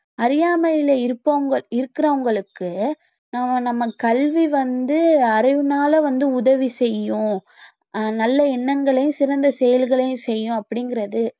அறியாமைல இருப்பவங்க இருக்கிறவங்களுக்கு ஆஹ் நம்ம கல்வி வந்து அறிவுனால வந்து உதவி செய்யும் அஹ் நல்ல எண்ணங்களையும் சிறந்த செயல்களையும் செய்யும் அப்படிங்கறது